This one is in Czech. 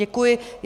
Děkuji.